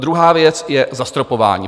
Druhá věc je zastropování.